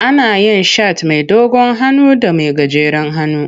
Ana yin shat mai dogon hannu da mai gajeren hannu.